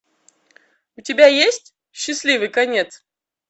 у тебя есть счастливый конец